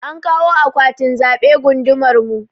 An kawo akwatin zaɓe gundumar mu.